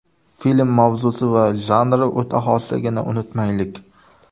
Film mavzusi va janri o‘ta xosligini unutmaylik.